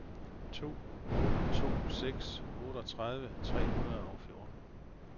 to otte to seks otteogtredive tre hundrede og fjorten